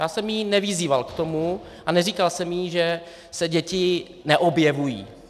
Já jsem ji nevyzýval k tomu a neříkal jsem jí, že se děti neobjevují.